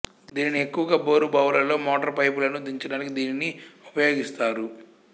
దీనిని ఎక్కువగా బోరు బావులలో మోటారు పైపులను దించడానికి దీనిని ఉపయోగిస్తారు